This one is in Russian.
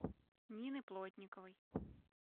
нины плотниковой